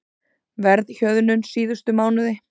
Verðhjöðnun síðustu mánuði